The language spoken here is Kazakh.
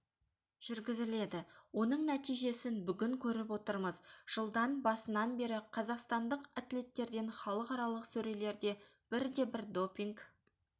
жүргізіледі оның нәтижесін бүгін көріп отырмыз жылдан басынан бері қазақстандық атлеттерден халықаралық сөрелерде бірде-бір допинг